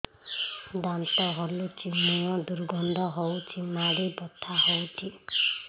ଦାନ୍ତ ହଲୁଛି ମୁହଁ ଦୁର୍ଗନ୍ଧ ହଉଚି ମାଢି ବଥା ହଉଚି